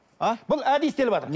а бұл әдейі істеліватыр